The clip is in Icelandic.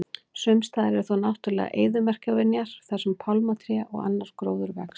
Sumstaðar eru þó náttúrulegar eyðimerkurvinjar þar sem pálmatré og annar gróður vex.